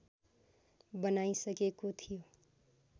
बनाइसकेको थियो